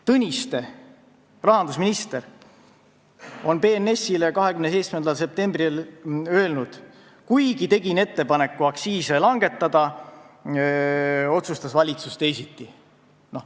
Tõniste, rahandusminister, ütles BNS-ile 27. septembril: "Kuigi tegin ettepaneku aktsiise langetada, otsustas valitsus teisiti.